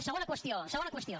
segona qüestió segona qüestió